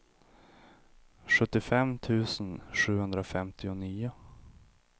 sjuttiofem tusen sjuhundrafemtionio